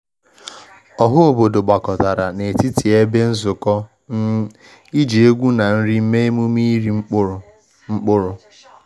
Ọha obodo gbakọtara n’etiti ebe nzukọ um iji egwu na nri mee emume iri mkpụrụ. mkpụrụ.